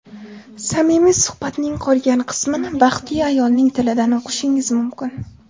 Samimiy suhbatning qolgan qismini baxtli ayolning tilidan o‘qishingiz mumkin.